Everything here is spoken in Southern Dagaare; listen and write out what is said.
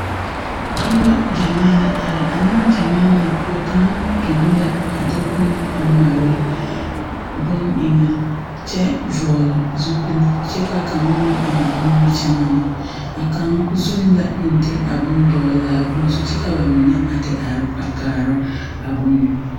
Noba gyamaa la are. A negyamaa na poʊ, kang dom la a de boŋ a mare boŋ eŋe kyɛ vogle zupul kyɛ ka kanga meŋ eŋ nimikyaane. A kang zun la meŋ de a bon dogle a bon zu kyɛ ka ba mene a te are a kaara a bon